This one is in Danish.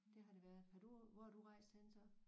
Det har det været har du hvor har du rejst henne så